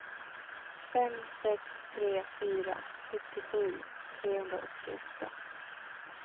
fem sex tre fyra sjuttiosju trehundraåttioåtta